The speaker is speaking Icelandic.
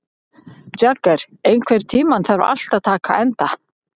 Jagger, einhvern tímann þarf allt að taka enda.